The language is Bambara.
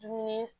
Dumuni